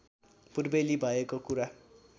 पूर्वेली भएको कुरा